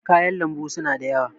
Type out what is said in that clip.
kayan lambu suna da yawa